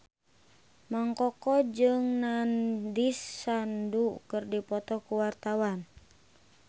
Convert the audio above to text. Mang Koko jeung Nandish Sandhu keur dipoto ku wartawan